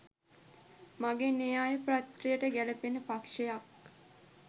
මගේ න්‍යාය පත්‍රයට ගැළපෙන පක්ෂයක්